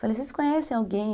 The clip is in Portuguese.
Falei, vocês conhecem alguém?